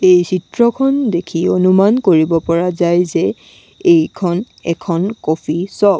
এই চিত্ৰখন দেখি অনুমান কৰিব কৰিব পৰা যায় যে এইখন এখন কফি চ'প ।